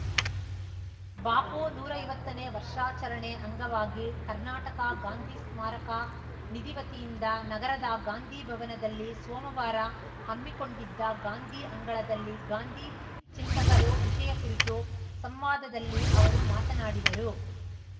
ಬಾಪು ನೂರಾ ಐವತ್ತನೇ ವರ್ಷಾಚರಣೆ ಅಂಗವಾಗಿ ಕರ್ನಾಟಕ ಗಾಂಧಿ ಸ್ಮಾರಕ ನಿಧಿ ವತಿಯಿಂದ ನಗರದ ಗಾಂಧಿ ಭವನದಲ್ಲಿ ಸೋಮವಾರ ಹಮ್ಮಿಕೊಂಡಿದ್ದ ಗಾಂಧೀ ಅಂಗಳದಲ್ಲಿ ಗಾಂಧೀ ಚಿಂತಕರು ವಿಷಯ ಕುರಿತ ಸಂವಾದದಲ್ಲಿ ಅವರು ಮಾತನಾಡಿದರು